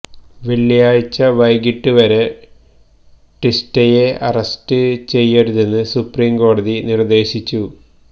വെള്ളിയാഴിച്ച വൈകിട്ട് വരെ ടീസ്റ്റയെ അറസ്റ്റ് ചെയ്യരുതെന്ന് സുപ്രീം കോടതി നിര്ദ്ദേശിച്ചു